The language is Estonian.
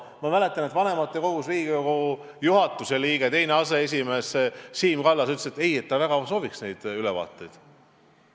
Ma mäletan, et vanematekogus Riigikogu juhatuse liige, teine aseesimees Siim Kallas ütles, et ei, ta väga sooviks neid ülevaateid.